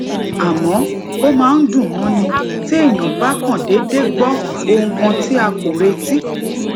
àmó ó máa ń dùn mọni téèyàn bá kàn dédé gbó ohun kan tí a kò retí